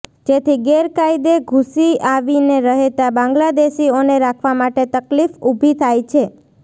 જેથી ગેરકાયદે ઘૂસી આવીને રહેતા બાંગ્લાદેશીઓને રાખવા માટે તકલીફ ઉભી થાય છે